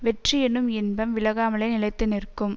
வெற்றியெனும் இன்பம் விலகாமலே நிலைத்து நிற்கும்